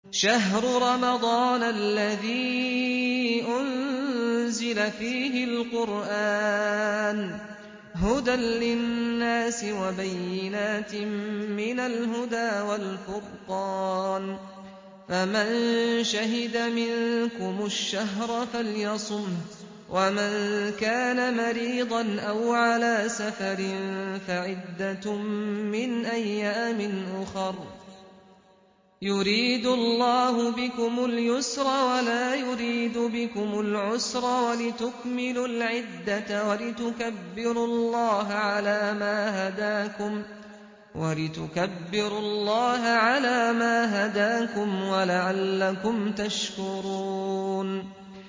شَهْرُ رَمَضَانَ الَّذِي أُنزِلَ فِيهِ الْقُرْآنُ هُدًى لِّلنَّاسِ وَبَيِّنَاتٍ مِّنَ الْهُدَىٰ وَالْفُرْقَانِ ۚ فَمَن شَهِدَ مِنكُمُ الشَّهْرَ فَلْيَصُمْهُ ۖ وَمَن كَانَ مَرِيضًا أَوْ عَلَىٰ سَفَرٍ فَعِدَّةٌ مِّنْ أَيَّامٍ أُخَرَ ۗ يُرِيدُ اللَّهُ بِكُمُ الْيُسْرَ وَلَا يُرِيدُ بِكُمُ الْعُسْرَ وَلِتُكْمِلُوا الْعِدَّةَ وَلِتُكَبِّرُوا اللَّهَ عَلَىٰ مَا هَدَاكُمْ وَلَعَلَّكُمْ تَشْكُرُونَ